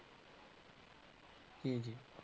ਜੀ ਜੀ।